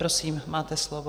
Prosím, máte slovo.